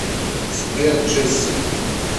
сбер джесси